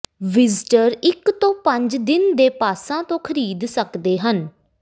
visitor ਇੱਕ ਤੋਂ ਪੰਜ ਦਿਨ ਦੇ ਪਾਸਾਂ ਤੋਂ ਖਰੀਦ ਸਕਦੇ ਹਨ